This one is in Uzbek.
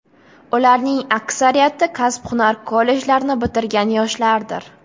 Ularning aksariyati kasb-hunar kollejlarini bitirgan yoshlardir.